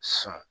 Sɔn